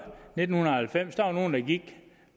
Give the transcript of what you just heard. nitten halvfems var der nogle der gik